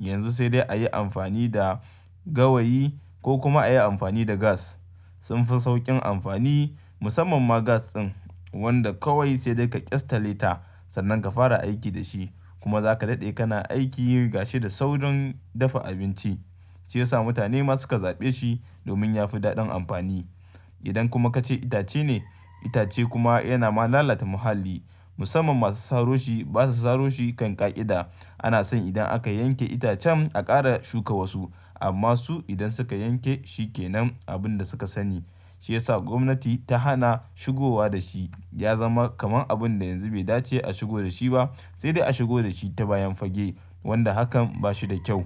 Yanzu sai dai a yi amfani da gawayi ko kuma a yi amfani da gas. Sun fi sauƙin amfani musamman ma gas ɗin wanda kawai sai dai ka ƙyasta leta sannan ka fara aiki da shi kuma za ka daɗe kana aiki yi gashi da saurin dafa abinci, shi ya sa mutane ma su ka zaɓe shi domin ya fi daɗin amfani. Idan kuma ka ce itace ne, itace kuma yana ma lalata muhalli musamman masu saro shi ba su saro shi kan ƙa'ida. Ana son idan aka yanke itacen a ƙara shuka wasu amma su idan suka yanke shi ke nan abun da suka sani. Shi ya sa gwamnati ta hana shigowa da shi ya zama kamar abun da yanzu bai dace a shigo da shi ba sai dai a shigo da shi ta bayan fage wanda hakan ba shi da kyau.